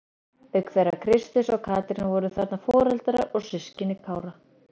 Auk þeirra Kristins og Katrínar voru þarna foreldrar og systkini Kára.